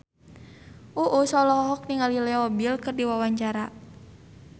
Uus olohok ningali Leo Bill keur diwawancara